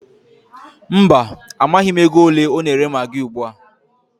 Mba, amaghị m ego ole a na-ere magị ugbua.